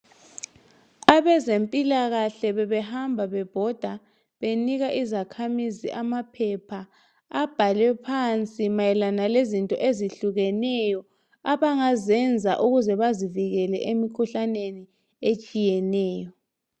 Abezempilakahle bebehamba bebhoda benika izakhamizi amaphepha abhalwe phansi mayelana lezinto ezitshiyeneyo abangazenza ukuze bezivikele emkhuhlaneni etshiyeneyo.